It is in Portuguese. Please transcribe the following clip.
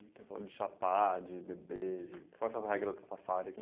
(Intervolta) de chapar de beber de... Quais são as regras Rastafari?